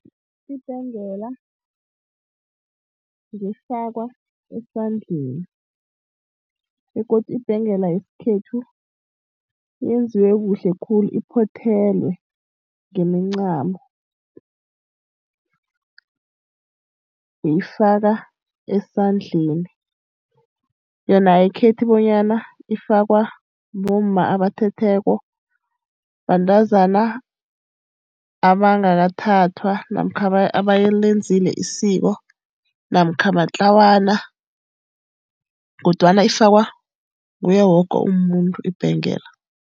Ibhengela ngefakwa esandleni, begodu ibhengela yesikhethu yenziwe kuhle khulu iphothelwe ngemincamo. Uyifaka esandleni. Yona ayikhethi bonyana ifakwa bomma abathethweko, bantazana abangakathathwa namkha abalenzile isiko namkha matlawana. Kodwana ifakwa nguye woke umuntu, ibhengela.